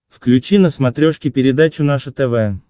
включи на смотрешке передачу наше тв